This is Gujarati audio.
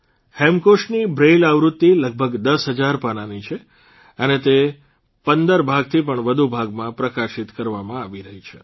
હેમકોશની બ્રેઇલ આવૃત્તિ લગભગ ૧૦ હજાર પાનાની છે અને તે ૧૫ ભાગથી પણ વધારે ભાગમાં પ્રકાશિત કરવામાં આવી રહી છે